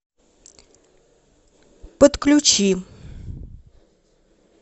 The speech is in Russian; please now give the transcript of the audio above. подключи